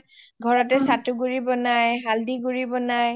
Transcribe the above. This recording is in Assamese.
ঘৰতে চাটো গুৰি বনাই হালদি গুৰি বনাই